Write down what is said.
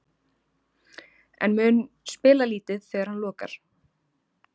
En mun spila lítið þegar hann lokar?